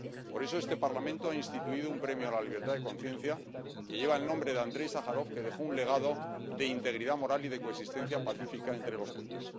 Por eso, este Parlamento ha instituido un premio a la libertad de conciencia que lleva el nombre de Andréi Sájarov, que dejó un legado de integridad moral y de coexistencia pacífica entre los pueblos.